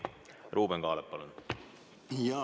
Ruuben Kaalep, palun!